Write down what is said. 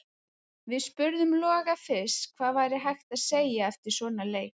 Við spurðum Loga fyrst hvað væri hægt að segja eftir svona leik: